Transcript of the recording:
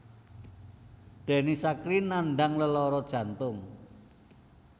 Denny Sakrie nandhang lelara jantung